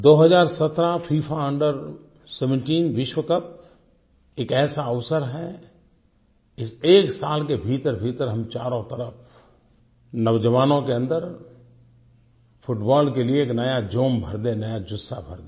2017 FIFA under 17 विश्वकप एक ऐसा अवसर है इस एक साल के भीतरभीतर हम चारों तरफ़ नौजवानों के अन्दर फुटबॉल के लिए एक नया जोम भर दे एक नया जुत्साह भर दे